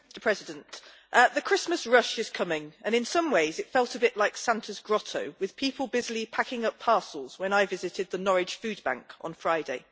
Mr President, the Christmas rush is coming and in some ways it felt a bit like Santa's grotto, with people busily packing up parcels, when I visited the Norwich food bank on Friday.